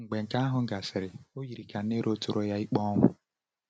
Mgbe nke ahụ gasịrị, o yiri ka Nero tụrụ ya ikpe ọnwụ.